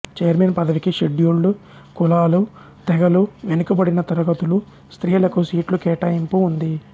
chairman పదవికి scheduled కులాలు తెగలు వెనుకబడిన తరగతులు స్త్రీలకు సీట్లు కేటాయింపు ఉంది